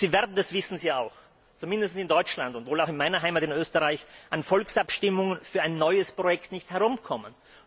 Sie werden und das wissen Sie auch zumindest in Deutschland und wohl auch in meiner Heimat Österreich, um Volksabstimmungen für ein neues Projekt nicht herumkommen.